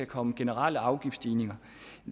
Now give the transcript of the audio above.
komme generelle afgiftsstigninger